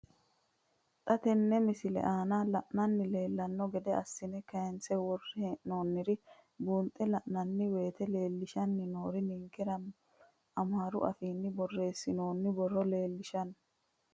Xa tenne missile aana la'nara leellanno gede assine kayiinse worre hee'noonniri buunxe la'nanni woyiite leellishshanni noori ninkera amaaru afiinni borreessinoonni borro leellishshanno.